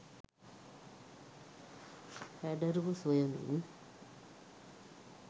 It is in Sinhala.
හැඩරුව සොයමින්